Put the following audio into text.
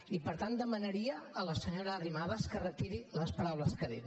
i per tant demanaria a la senyora arrimadas que retiri les paraules que ha dit